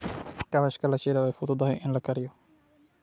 Kaabashka la shiilay way fududahay in la kariyo.